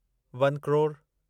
one crore